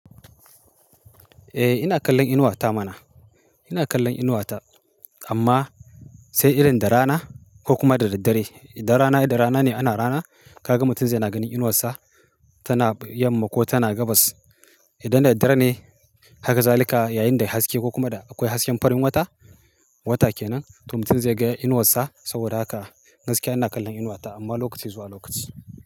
Eh ina kallon inuwa ta mana. Ina kallon inuwata amma sai irin da rana ko kuma da daddare. Idan rana, da rana ne ana rana, kaga mutum zai na gani inuwarsa tana yamma ko tana gabas. Idan da daddare ne, haka zalika yayin da ya haske ko kuma da akwai hasken farin wata, wata kenan to mutum zai ga inuwarsa. Saboda haka gaskiya ina kallon inuwata amma lokaci zuwa lokaci.